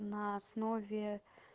на основе